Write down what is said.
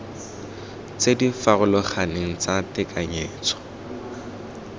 tse di farologaneng tsa tekanyetso